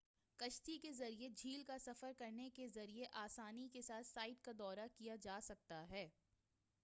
کشتی کے ذریعے جھیل کا سفر کرنے کے ذریعے آسانی کے ساتھ سائٹ کا دورہ کیا جا سکتا ہے